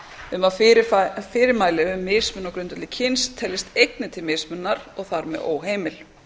um að fyrirmæli um mismunun á grundvelli kyns teljist einnig til mismununar og þar með óheimil